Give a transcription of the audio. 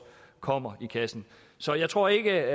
kommer i kassen så jeg tror ikke